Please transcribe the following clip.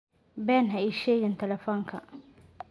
Been ha ii sheegin taleefanka.